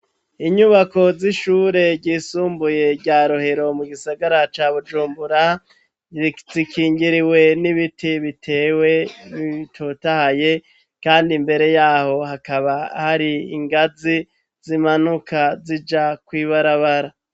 Inyubako z'ishure ryisumbuye, rya Rohero, mu gisagara ca Bujumbura, zikingiriwe n'ibiti bitewe, bitotahaye kandi imbere y'aho, hakaba hari ingazi, zimanuka zija kw'ibarabara.